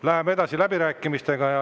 Läheme edasi läbirääkimistega.